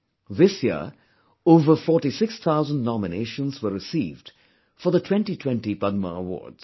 This year over 46000 nominations were received for the 2020 Padma awards